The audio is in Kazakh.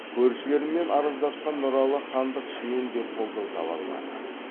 көршілерімен араздасқан нұралы хандық ішінен де қолдау таба алмады